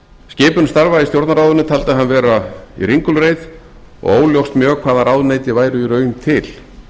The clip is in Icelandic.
skipun starfa í stjórnarráðinu taldi hann vera í ringulreið og óljóst mjög hvaða ráðuneyti væru í raun til